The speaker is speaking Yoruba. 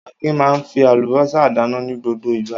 Akin máa ń fi àlùbọ́sà dáná ní gbogbo ìgbà.